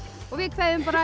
og við kveðjum bara